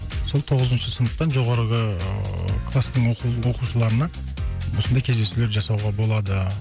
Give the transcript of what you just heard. сол тоғызыншы сыныптан жоғарғы ыыы кластың оқушыларына осындай кездесулер жасауға болады